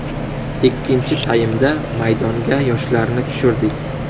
Ikkinchi taymda maydonga yoshlarni tushirdik.